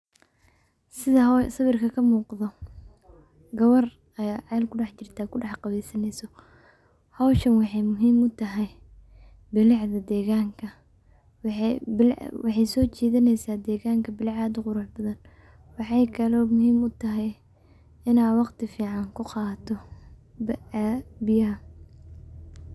Sidha sawirka kamuuqdo gawar ayaa ceel kudaxjirto kudax qawesaneyso. Howshan waxey muhiim utahay bilicda deeganka waxey soojidhaneysa degaanka bilic aad uqurux badan. Waxey kale oo muhiim utahay in ad waqti fican kuqaadhato biyaha.